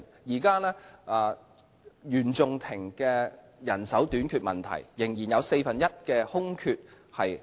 現時原訟庭面對人手短缺問題，仍有四分之一的空缺懸空。